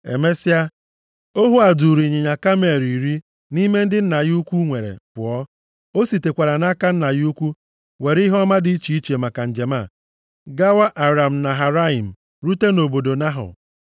Emesịa, ohu a duuru ịnyịnya kamel iri nʼime ndị nna ya ukwu nwere pụọ. O sitekwara nʼaka nna ya ukwu were ihe ọma dị iche iche maka njem a, gawa Aram Naharaim, rute nʼobodo Nahọ.